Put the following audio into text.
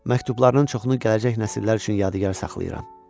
Məktublarının çoxunu gələcək nəsillər üçün yadigar saxlayıram.